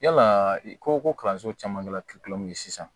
Yala i ko ko kalanso caman kɛla kilo ye sisan